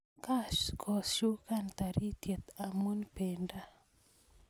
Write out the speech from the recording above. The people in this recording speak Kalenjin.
kakoshukan taritiet amun pendo